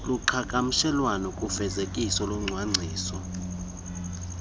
kuqhagamshelwano kufezekiso locwangciso